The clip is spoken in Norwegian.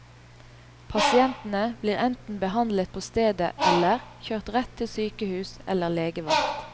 Pasientene blir enten behandlet på stedet eller, kjørt rett til sykehus eller legevakt.